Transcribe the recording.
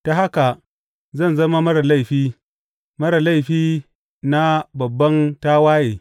Ta haka zan zama marar laifi; marar laifi na babban tawaye.